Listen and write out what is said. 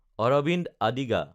Arvind Adiga